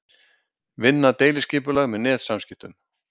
Vinna deiliskipulag með netsamskiptum